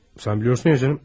Sən bilirsən ya canım.